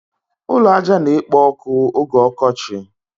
Ụlọ ájá na-ekpo ọkụ oge ọkọchị.